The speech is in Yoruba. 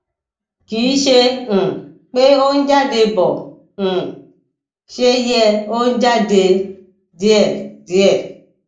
kìí ṣe um pé ó ń jáde bó um ṣe yẹ ó ń jáde díẹdíẹ